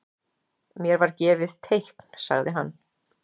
Mér var gefið teikn sagði hann.